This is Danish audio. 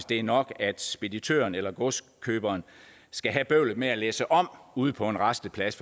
det er nok at speditøren eller godskøberen skal have bøvlet med at læsse om ude på en rasteplads